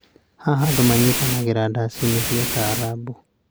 Haha, andũ manyitanagĩra ndaci-inĩ cia Taarab.